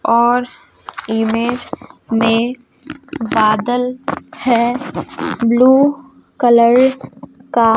और इमेज में बादल है ब्लू कलर का--